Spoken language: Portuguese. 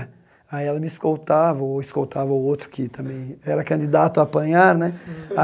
Aí ela me escoltava, ou escoltava o outro que também era candidato a apanhar, né?